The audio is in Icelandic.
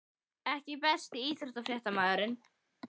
EKKI besti íþróttafréttamaðurinn??